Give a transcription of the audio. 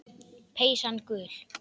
Peysan gul.